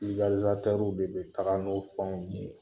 de bɛ kɛ.